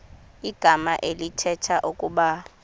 igama elithetha ukuba